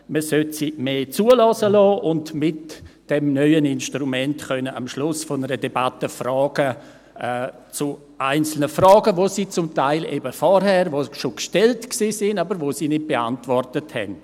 Man sollte sie mehr zuhören lassen, um mit dem neuen Instrument am Ende einer Debatte Fragen zu einzelnen, bereits zuvor gestellten Fragen zu stellen, die sie aber nicht beantwortet haben.